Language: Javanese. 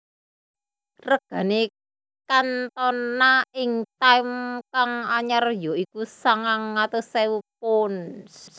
Regane Cantona ing time kang anyar ya iku sangang atus ewu pounds